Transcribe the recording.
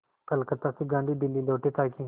कलकत्ता से गांधी दिल्ली लौटे ताकि